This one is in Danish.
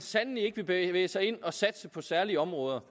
sandelig ikke vil bevæge sig ind at satse på særlige områder